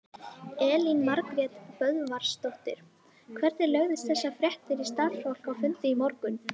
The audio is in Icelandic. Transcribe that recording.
Elín Margrét Böðvarsdóttir: Hvernig lögðust þessar fréttir í starfsfólk á fundi í morgun?